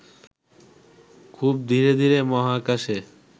খুব ধীরে ধীরে মহাকাশে